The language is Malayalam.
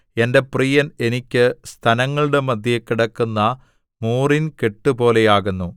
എന്റെ പ്രിയൻ എനിക്ക് സ്തനങ്ങളുടെ മദ്ധ്യേ കിടക്കുന്ന മൂറിൻ കെട്ടുപോലെയാകുന്നു